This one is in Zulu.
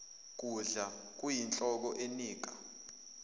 kudla kuyinhlobo enika